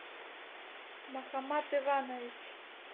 махамат иванович